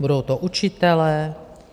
Budou to učitelé?